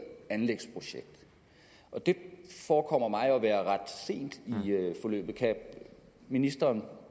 anlægsprojekt det forekommer mig at være ret sent i forløbet kan ministeren